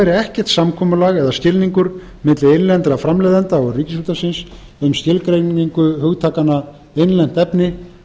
væri ekkert samkomulag eða skilningur milli innlendra framleiðenda og ríkisútvarpsins um skilgreiningu hugtakanna innlent efni